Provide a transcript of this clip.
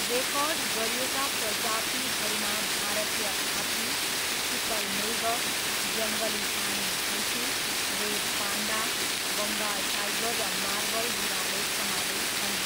Record गरिएका प्रजातिहरूमा भारतीय हात्ती, चितल मृग, जङ्गली पानी भैँसी, रेड पान्डा, बङ्गाल टाइगर र मार्बल बिरालो समावेश छन्।